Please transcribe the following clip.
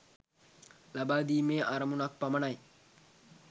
ලබාදීමේ අරමුණක් පමණයි.